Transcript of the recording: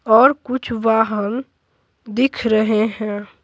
और कुछ वाहन दिख रहे हैं।